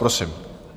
Prosím.